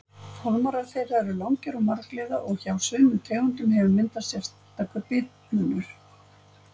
Fálmarar þeirra eru langir og margliða og hjá sumum tegundum hefur myndast sérstakur bitmunnur.